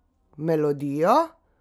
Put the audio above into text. Melodijo?